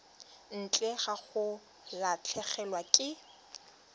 ntle ga go latlhegelwa ke